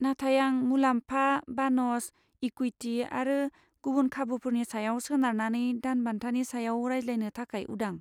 नाथाय आं मुलाम्फा, बानस, इकुइटि आरो गुबुन खाबुफोरनि सायाव सोनारनानै दानबान्थानि सायाव रायज्लायनो थाखाय उदां।